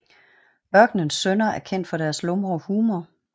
Ørkenens Sønners er kendt for deres lumre humor